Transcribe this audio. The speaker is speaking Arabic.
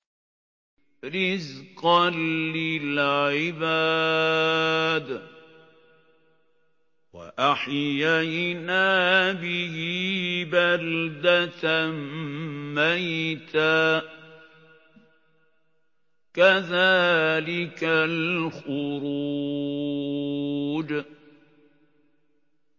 رِّزْقًا لِّلْعِبَادِ ۖ وَأَحْيَيْنَا بِهِ بَلْدَةً مَّيْتًا ۚ كَذَٰلِكَ الْخُرُوجُ